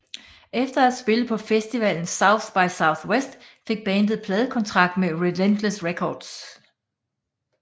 Efter at have spillet på festivalen South by Southwest fik bandet pladekontrakt med Relentless Records